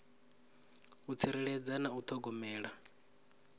u tsireledza na u thogomela